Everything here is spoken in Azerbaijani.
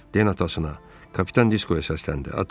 Den atasına, Kapitan Diskoya səsləndi.